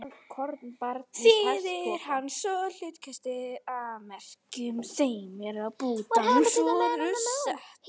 Þýðir hann svo hlutkestið af merkjum þeim er á bútana voru sett.